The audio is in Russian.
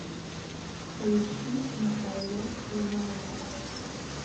поищи михайло ломоносов